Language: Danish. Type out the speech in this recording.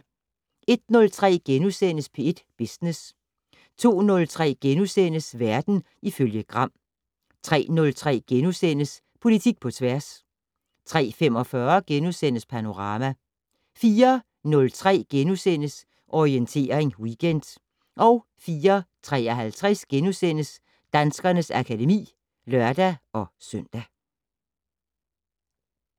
01:03: P1 Business * 02:03: Verden ifølge Gram * 03:03: Politik på tværs * 03:45: Panorama * 04:03: Orientering Weekend * 04:53: Danskernes akademi *(lør-søn)